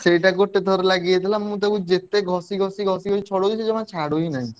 ସେଇଟା ଗୋଟେ ଥର ଲାଗି ଯାଇଥିଲା ମୁଁ ତାକୁ ଯେତେ ଘଷି ଘଷି ଘଷି ଘଷି ଛଡଉଛି ସିଏ ଜମା ଛାଡୁ ହିଁ ନାହିଁ।